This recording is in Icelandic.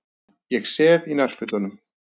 Ég sef í nærfötunum.